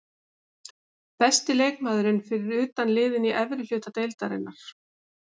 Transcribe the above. Besti leikmaðurinn fyrir utan liðin í efri hluta deildarinnar?